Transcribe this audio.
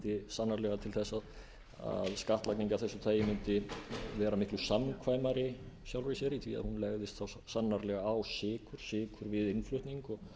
leiddi sannarlega til þess að skattlagning af þessu tagi mundi vera miklu samkvæmari í sjálfu sér í því að hún legðist sannarlega á sykur við innflutning og